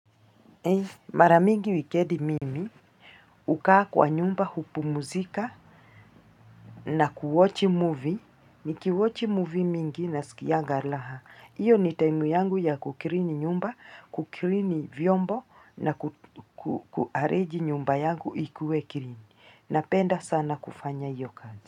Mara mingi wikendi mimi hukaa kwa nyumba hupumzika na ku-watch movie. Niki-watch movie mingi nasikianga raha. Hiyo ni time yangu ya ku-clean nyumba, ku-clean vyombo na ku-arrange nyumba yangu ikuwe clean Napenda sana kufanya hiyo kazi.